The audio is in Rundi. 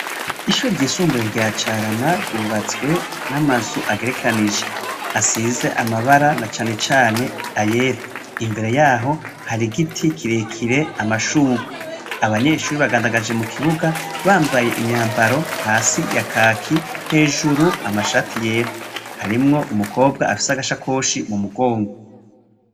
Ishuri ry'isumbuye rya carama ryubatswe n'amazu agerekanije asize amabara na canecane ayela imbere yaho hari igiti kirekire amashurwi abanyeshuri bagandagaje mu kibuga bamvaye imyambaro hasi ya kaki hejuru amashati yera harimwo umukwe obwa afise agasha koshi mu mugongwo.